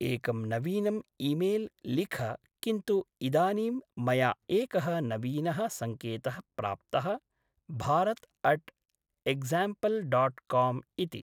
एकं नवीनम् ईमेल् लिख किन्तु इदानीं मया एकः नवीनः सङ्केतः प्राप्तः, Bharat at example dot com इति।